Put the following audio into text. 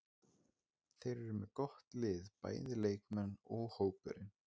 Þeir eru með gott lið, bæði leikmenn og hópurinn.